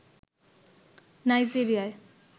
Nigeria